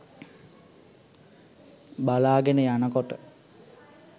බලාගෙන යනකොට